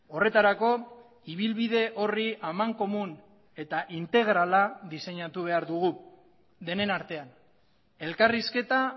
horretarako ibilbide horri amankomun eta integrala diseinatu behar dugu denen artean elkarrizketa